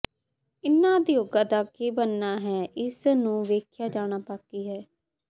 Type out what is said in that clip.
ਇਹਨਾਂ ਉਦਯੋਗਾਂ ਦਾ ਕੀ ਬਣਨਾ ਹੈ ਇਸ ਨੂੰ ਵੇਖਿਆ ਜਾਣਾ ਬਾਕੀ ਹੈ